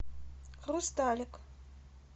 хрусталик